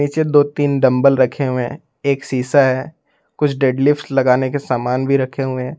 नीचे दो तीन डंबल रखे हुए एक शीशा है कुछ डेडलिफ्ट लगाने के सामान भी रखे हुए हैं।